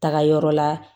Taga yɔrɔ la